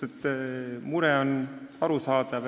Jah, mure on arusaadav.